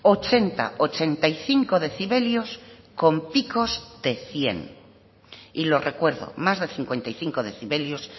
ochenta ochenta y cinco decibelios con picos de cien y lo recuerdo más de cincuenta y cinco decibelios